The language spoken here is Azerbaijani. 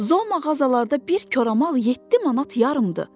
Zoo mağazalarda bir koramal yeddi manat yarımdır.